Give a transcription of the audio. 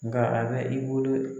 Nga a bɛ i bolo